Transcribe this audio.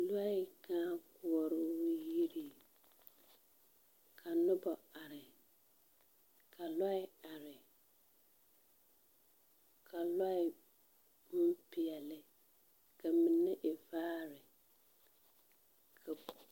Lɔɛ kãã koɔroo yiriŋ, ka noba are, ka lɔɛ are, ka lɔɛ bompeɛle ka mine e vaare.